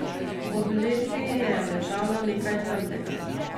Ob letvi je ležalo nekaj temnega.